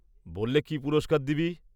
বল্লে কি পুরস্কার দিবি?